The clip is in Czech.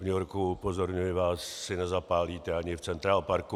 V New Yorku, upozorňuji vás, si nezapálíte ani v Central Parku.